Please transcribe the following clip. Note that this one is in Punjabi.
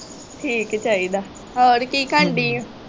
ਠੀਕ ਚਾਹੀਦਾ। ਹੋਰ ਕੀ ਕਰਨ ਦੀ ਆ?